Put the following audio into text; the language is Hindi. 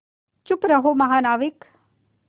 चुप रहो महानाविक